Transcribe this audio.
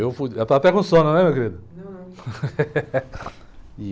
Eu fui. Está até com sono, não é, meu querido?ão, não.risos)